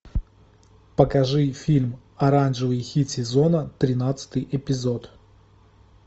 покажи фильм оранжевый хит сезона тринадцатый эпизод